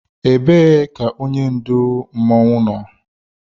Ebee ka onye ndu otu masquerade nọ?